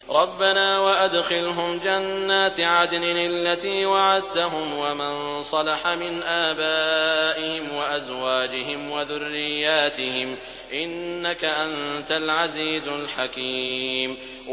رَبَّنَا وَأَدْخِلْهُمْ جَنَّاتِ عَدْنٍ الَّتِي وَعَدتَّهُمْ وَمَن صَلَحَ مِنْ آبَائِهِمْ وَأَزْوَاجِهِمْ وَذُرِّيَّاتِهِمْ ۚ إِنَّكَ أَنتَ الْعَزِيزُ الْحَكِيمُ